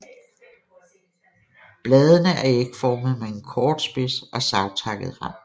Bladene er ægformede med en kort spids og savtakket rand